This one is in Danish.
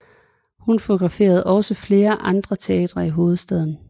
Hun fotograferede også ved flere andre teatre i hovedstaden